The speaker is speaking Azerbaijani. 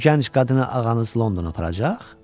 Bu gənc qadını ağanız Londona aparacaq?